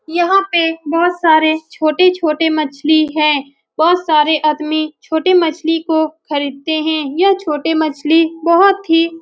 यहाँ पे बहुत सारे छोटे-छोटे मछली है। बहुत सारे आदमी छोटे मछ्ली को खरीदते है। यह छोटे मछली बहुत ही --